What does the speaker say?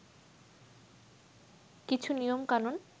কিছু নিয়মকানুন